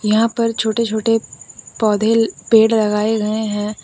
यहां पर छोटे छोटे पौधे पेड़ लगाए गए हैं।